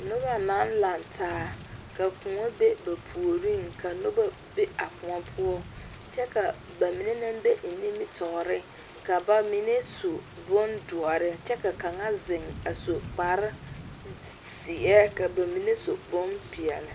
Noba naŋ laŋe taa, ka koɔ be ba puoriŋ ka noba be a koɔ poɔ kyɛ ka ba mine naŋ be nimitɔre, ka ba mine su bon doɔre kyɛ ka ba mine kpare zeɛ ka ba mine su bonpɛɛle